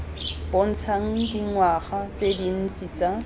bontshang dingwaga tse dintsi tsa